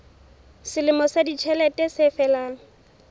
selemo sa ditjhelete se felang